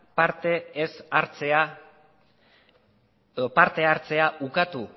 parte hartzea ukatu